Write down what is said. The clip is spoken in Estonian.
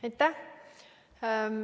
Aitäh!